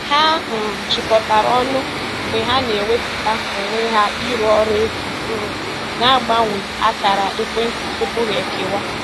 Ha um jikọtara ọnụ mgbe ha na-ewepụta onwe ha ịrụ ọrụ efu, um ma gbanwee akara ekwentị tupu ha ekewa